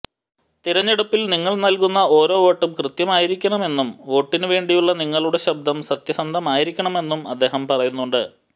തിരഞ്ഞെടുപ്പിൽ നിങ്ങൾ നൽകുന്ന ഓരോ വോട്ടും കൃത്യമായിരിക്കണമെന്നും വോട്ടിനുവേണ്ടിയുള്ള നിങ്ങളുടെ ശബ്ദം സത്യസന്ധമായിരിക്കണമെന്നും അദ്ദേഹം പറയുന്നുണ്ട്